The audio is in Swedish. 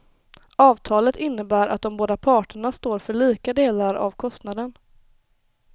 Avtalet innebär att de båda parterna står för lika delar av kostnaden.